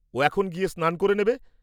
ও এখন গিয়ে স্নান করে নেবে।